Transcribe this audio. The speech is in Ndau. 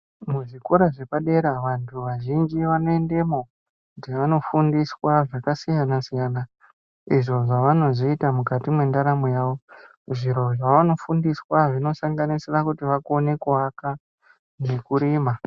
Muzvikora zvepadera vantu vazhinji vanoendemo, kuti vanofundiswa zvakasiyana-siyana, izvo zvavanozoita mukati mwendaramo yavo. Zviro zvavanofundiswa zvinosanganisira kuti vakone kuaka, nekurima.